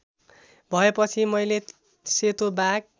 भएपछि मैले सेतो बाघ